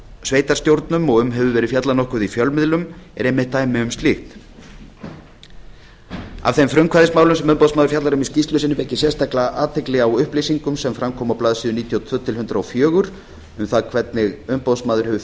sveitarstjórnum og um hefur verið fjallað nokkuð í fjölmiðlum er einmitt dæmi um slíkt af þeim frumkvæðismálum sem umboðsmaður fjallar um í skýrslu sinni vek ég sérstaklega athygli á upplýsingum sem fram komu á blaðsíðu níutíu og tvö til hundrað og fjögur um það hvernig umboðsmaður hefur